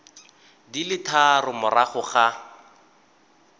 di le tharo morago ga